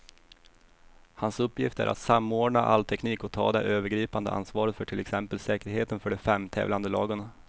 Hans uppgift är att samordna all teknik och ta det övergripande ansvaret för till exempel säkerheten för de fem tävlande lagen.